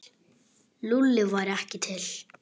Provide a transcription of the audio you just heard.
Lúlli væri ekki til.